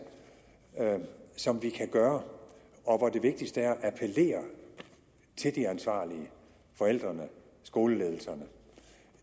som vi kan gøre og det vigtigste er at appellere til de ansvarlige nemlig forældrene og skoleledelserne